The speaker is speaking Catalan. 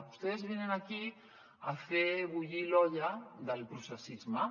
ustedes vienen aquí a fer bullir l’olla del processisme